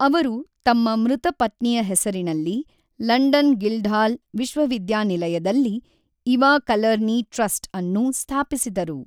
ಅವರು ತಮ್ಮ ಮೃತ ಪತ್ನಿಯ ಹೆಸರಿನಲ್ಲಿ ಲಂಡನ್ ಗಿಲ್ಡ್ಹಾಲ್ ವಿಶ್ವವಿದ್ಯಾನಿಲಯದಲ್ಲಿ ಇವಾ ಕಲರ್ನಿ ಟ್ರಸ್ಟ್ ಅನ್ನು ಸ್ಥಾಪಿಸಿದರು.